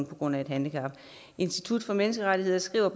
på grund af et handicap institut for menneskerettigheder skriver